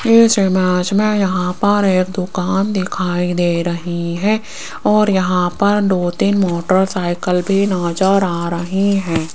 इस इमेज में यहां पर एक दुकान दिखाई दे रही है और यहां पर दो तीन मोटरसाइकल भी नजर आ रही है।